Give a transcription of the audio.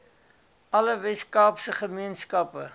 alle weskaapse gemeenskappe